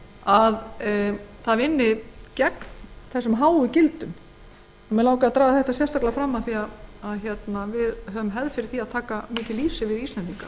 lýsinu og vinni gegn þessum háu gildum mig langaði að benda sérstaklega á þetta af því að það er mikil hefð fyrir því að taka lýsi